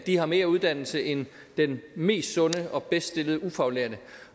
har mere uddannelse end den mest sunde og bedst stillede ufaglærte